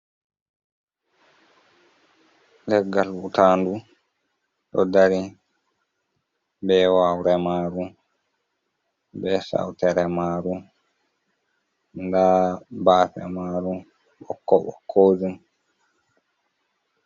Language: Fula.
Leggal hutanɗu ɗo ɗari. Be waure maru. be sauteremaru. Nɗa bape maru bokko bokojum.